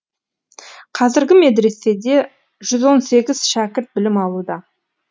қазіргі медреседе жүз он сегіз шәкірт білім алуда